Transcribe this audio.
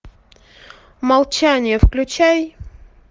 молчание включай